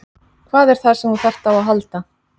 Hvað er það sem þú þarft á að halda?